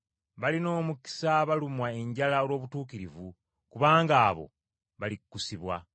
Balina omukisa abalumwa enjala olw’obutuukirivu kubanga abo balikkusibwa.